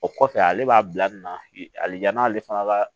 O kɔfɛ ale b'a bila nin na hali n'ale fana ka